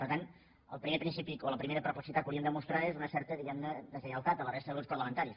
per tant el primer principi o la primera perplexitat que hauríem de mostrar és una certa diguem ne deslleialtat a la resta de grups parlamentaris